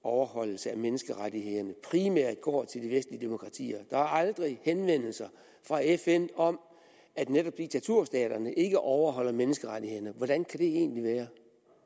overholdelse af menneskerettighederne primært går til de vestlige demokratier der er aldrig henvendelser fra fn om at netop diktaturstaterne ikke overholder menneskerettighederne hvordan kan det egentlig være